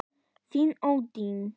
Þín, Oddný.